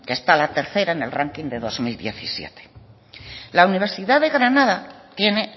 que está la tercera en el ranking de dos mil diecisiete la universidad de granada tiene